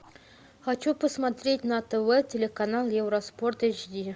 хочу посмотреть на тв телеканал евроспорт эйч ди